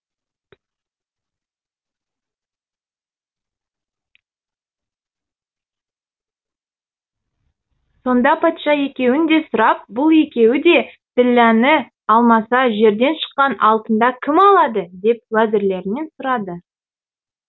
сонда патша екеуін де сұрап бұл екеуі де ділләні алмаса жерден шыққан алтында кім алады деп уәзірлерінен сұрады